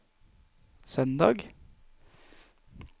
søndag